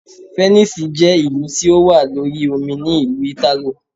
Fẹ̀nísìì je ìlú tí ó wà lórí omi ní ìlú Ìtàló.